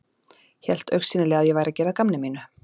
Hélt augsýnilega að ég væri að gera að gamni mínu.